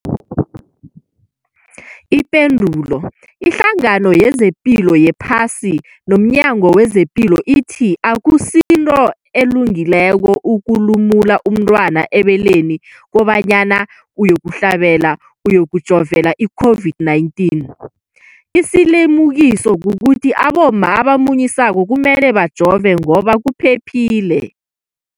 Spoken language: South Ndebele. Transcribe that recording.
Ipendulo, iHlangano yezePilo yePhasi nomNyango wezePilo ithi akusinto elungileko ukulumula umntwana ebeleni kobanyana uyokuhlabela, uyokujovela i-COVID-19. Isilimukiso kukuthi abomma abamunyisako kumele bajove ngoba kuphephile.